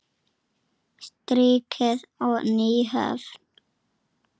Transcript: Strikið og Nýhöfn.